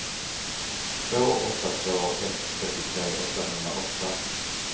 två åtta två ett trettiotre åttahundraåtta